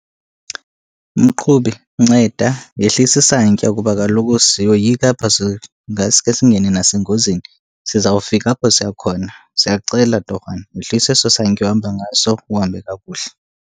Mqhubi, nceda yehlisa isantya kuba kaloku siyoyika apha singasuke singene nasengozini. Sizawufika apho siya khona, siyacela torhwana yehlisa eso santya uhamba ngaso uhambe kakuhle.